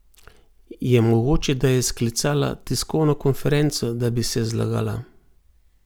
Je mogoče, da je sklicala tiskovno konferenco, da bi se zlagala?